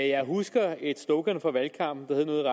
jeg husker et slogan fra valgkampen der hed noget